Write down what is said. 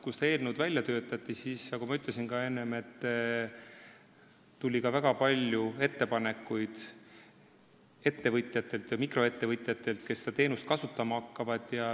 Kui seda eelnõu välja töötati, siis nagu ma enne ka ütlesin, tuli väga palju ettepanekuid ettevõtjatelt, sh mikroettevõtjatelt, kes seda teenust kasutama hakkavad.